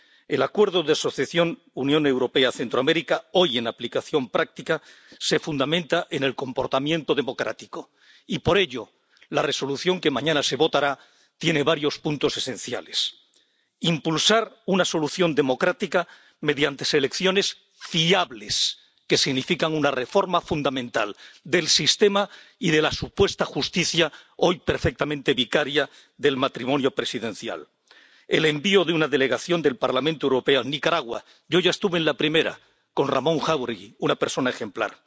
El Acuerdo de Asociación Unión Europea América Central, hoy en aplicación práctica, se fundamenta en el comportamiento democrático y, por ello, la propuesta de Resolución que mañana se votará tiene varios puntos esenciales impulsar una solución democrática, mediante elecciones fiables, que signifique una reforma fundamental del sistema y de la supuesta justicia, hoy perfectamente vicaria del matrimonio presidencial el envío de una delegación del Parlamento Europeo a Nicaragua —yo ya estuve en la primera, con Ramón Jáuregui, una persona ejemplar—